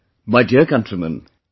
My dear countrymen,